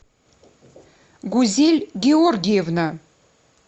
гузель георгиевна